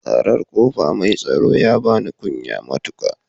Ƙarar ƙofa mai tsaro ya bani kunya matuƙa